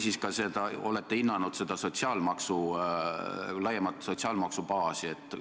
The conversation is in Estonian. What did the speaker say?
Ja kas te olete hinnanud seda laiemat sotsiaalmaksu baasi?